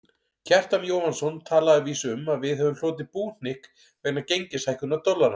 Kjartan Jóhannsson talaði að vísu um að við hefðum hlotið búhnykk vegna gengishækkunar dollarans.